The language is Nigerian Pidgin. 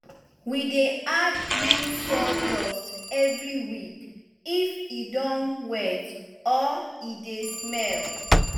we dey add new sawdust every week if e don wet or e dey smell.